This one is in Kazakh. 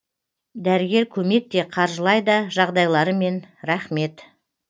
дәрігер көмек те қаржылай да жағдайларымен рахмет